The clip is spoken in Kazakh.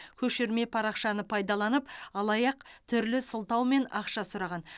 көшірме парақшаны пайдаланып алаяқ түрлі сылтаумен ақша сұраған